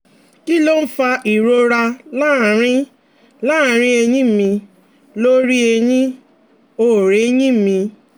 Kí ló ń fa ìrora láàárín láàárín ẹ̀yìn mi lórí ẹ̀yìn-ọ̀-rẹyìn mi?